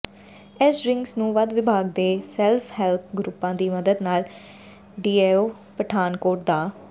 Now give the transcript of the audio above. ਇਸ ਡਰਿੰਕਸ ਨੂੰ ਵਧ ਵਿਭਾਗ ਦੇ ਸੈਲਫ਼ ਹੈਲਪ ਗਰੁੱਪਾਂ ਦੀ ਮਦਦ ਨਾਲ ਡੀਐੱਫਓ ਪਠਾਨਕੋਟ ਡਾ